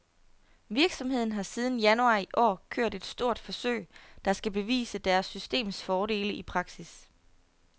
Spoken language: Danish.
Virksomheden har siden januar i år kørt et stort forsøg, der skal bevise deres systems fordele i praksis.